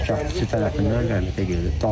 Yəni həmkəndlisi tərəfindən rəhmətə gedib.